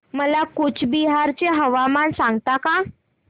मला कूचबिहार चे हवामान सांगता का